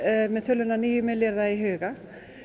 með töluna níu milljarða í huga